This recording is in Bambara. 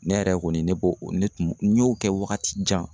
Ne yɛrɛ kɔni ne b'o o ne tun n y'o kɛ wagati jan.